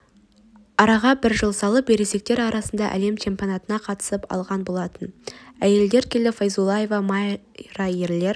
араға бір жыл салып ересектер арасында әлем чемпионатына қатысып алған болатын әйелдер келі файзуллаева майра ерлер